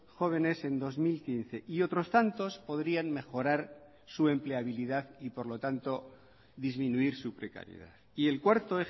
jóvenes en dos mil quince y otros tantos podrían mejorar su empleabilidad y por lo tanto disminuir su precariedad y el cuarto